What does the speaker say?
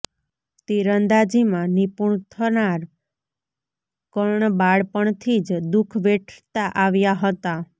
તીરંદાજીમાં નિપુણ થનાર કર્ણ બાળપણથી જ દુઃખ વેઠતા આવ્યા હતા